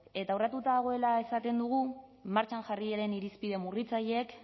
eta urratu dagoela esaten dugu martxan jarri diren irizpide murritzaileek